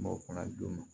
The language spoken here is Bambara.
M'o fana dun